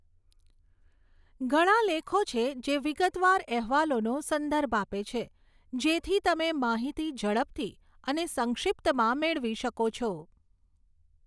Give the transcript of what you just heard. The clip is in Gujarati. ઘણા લેખો છે જે વિગતવાર અહેવાલોનો સંદર્ભ આપે છે, જેથી તમે માહિતી ઝડપથી અને સંક્ષિપ્તમાં મેળવી શકો છો.